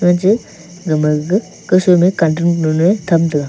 eje gama ga kasoi ma cartrin kanu na tak taga.